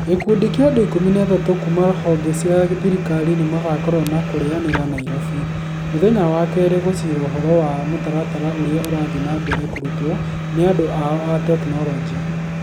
Gĩkundi kĩa andũ ikũmi na atatũ kuuma honge cia thirikari nĩ magakorwo na kũreanira Nairobi. Mũthenya wa keere, gũcira ũhoro wa mũtaratara ũrĩa ũrathiĩ na mbere kũrutwo nĩ andũ ao a tekinolonjĩ.